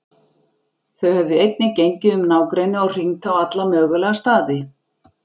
Þau höfðu einnig gengið um nágrennið og hringt á alla mögulega staði.